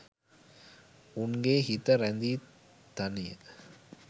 උන්ගේ හිත රැඳි තනිය